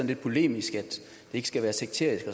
lidt polemisk at det ikke skal være sekterisk